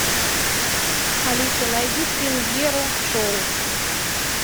алиса найди премьеру шоу